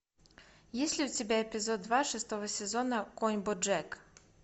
есть ли у тебя эпизод два шестого сезона конь боджек